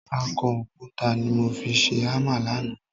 Akọ òkúta ni mo fi ṣe hámà lánàá